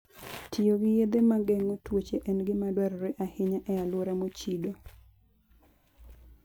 Tiyo gi yedhe ma geng'o tuoche en gima dwarore ahinya e alwora mochido.